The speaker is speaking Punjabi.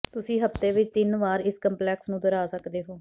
ਤੁਸੀਂ ਹਫ਼ਤੇ ਵਿਚ ਤਿੰਨ ਵਾਰ ਇਸ ਕੰਪਲੈਕਸ ਨੂੰ ਦੁਹਰਾ ਸਕਦੇ ਹੋ